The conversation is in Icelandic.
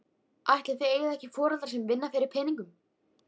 Ætli þið eigið ekki foreldra sem vinna fyrir peningum?